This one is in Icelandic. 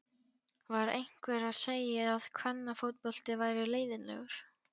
Var einhver að segja að kvennafótbolti væri leiðinlegur?